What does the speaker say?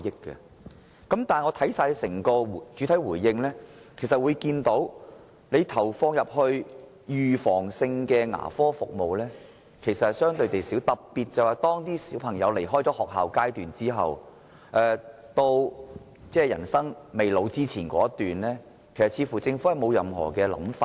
然而，我從主體答覆看到，投放在預防性牙科護理服務的資源相對較少，特別是在學童畢業離校後至步入老年之前的一段時間，政府似乎沒有任何規劃。